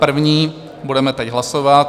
První budeme teď hlasovat.